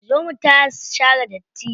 Zo mu taya su share datti.